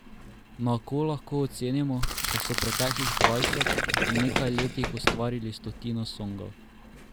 Na oko lahko ocenimo, da so preteklih dvajset in nekaj letih ustvarili stotino songov.